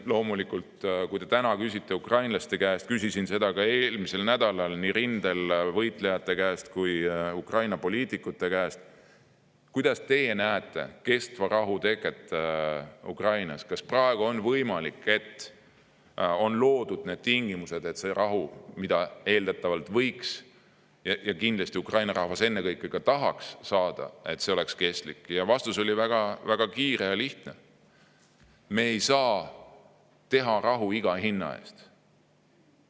Loomulikult, kui küsida praegu ukrainlaste käest – küsisin eelmisel nädalal nii rindel võitlejate käest kui ka Ukraina poliitikute käest –, kuidas nemad näevad kestva rahu teket Ukrainas ning kas on loodud need tingimused, et see rahu, mida eeldatavalt võiks saavutada, ja kindlasti Ukraina rahvas ennekõike tahaks saada, oleks kestlik, siis nende vastus oli väga kiire ja lihtne: me ei saa teha rahu iga hinna eest.